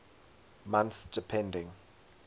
months depending